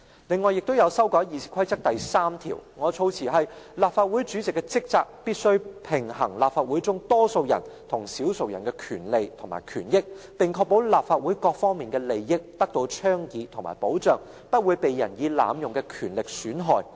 此外，我亦提出修改《議事規則》第3條，我的措辭是："立法會主席的職責是必須平衡立法會中多數人與少數人的權利及權益，並確保立法會各方面的利益得到倡議和保障，不會被任意濫用的權力損害。